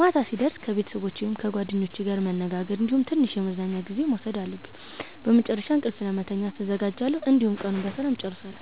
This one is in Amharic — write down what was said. ማታ ሲደርስ ከቤተሰቦቸ ወይም ከጓደኞቼ ጋር መነጋገር እንዲሁም ትንሽ የመዝናኛ ጊዜ መውሰድ አለብኝ። በመጨረሻም እንቅልፍ ለመተኛት እዘጋጃለሁ፣ እንዲሁም ቀኑን በሰላም እጨርሳለሁ።